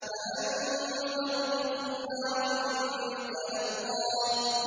فَأَنذَرْتُكُمْ نَارًا تَلَظَّىٰ